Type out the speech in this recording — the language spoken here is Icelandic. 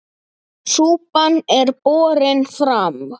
Súpan er borin fram.